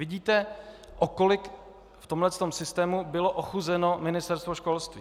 Vidíte, o kolik v tomto systému bylo ochuzeno Ministerstvo školství.